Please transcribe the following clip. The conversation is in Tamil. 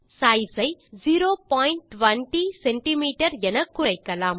சைஸ் ஐ 020சிஎம் என குறைக்கலாம்